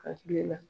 Hakili la